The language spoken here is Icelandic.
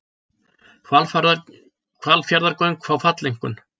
Hvalfjarðargöng fá falleinkunn